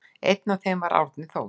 Einn af þeim var Árni Þór.